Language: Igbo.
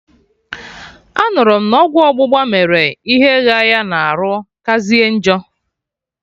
Anụrụ m na ọgwụ ọgbụgba mere ihe ghaa ya na arụ kazie njọ